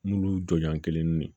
Minnu jɔɲɔgɔn kelen nun